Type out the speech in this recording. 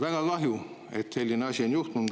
Väga kahju, et selline asi on juhtunud.